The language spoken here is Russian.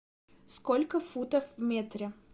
сколько футов в метре